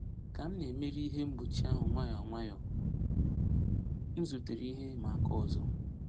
Ka m na-emeri ihe mgbochi ahụ nwayọ nwayọ, m zutere ihe ịma aka ọzọ.